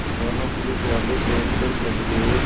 दोनों पुलिसवाले पेड़ पर चढ़ गए